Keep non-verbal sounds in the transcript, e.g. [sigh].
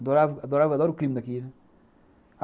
Adorava, [unintelligible] adoro o clima daqui, né.